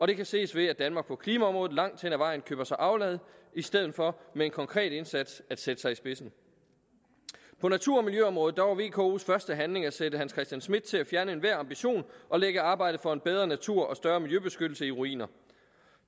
det kan ses ved at danmark på klimaområdet langt hen ad vejen køber sig aflad i stedet for med en konkret indsats at sætte sig i spidsen på natur og miljøområdet var vkos første handling at sætte hans christian schmidt til at fjerne enhver ambition og lægge arbejdet for en bedre natur og en større miljøbeskyttelse i ruiner